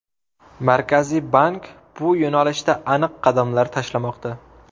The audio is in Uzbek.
Markaziy bank bu yo‘nalishda aniq qadamlar tashlamoqda.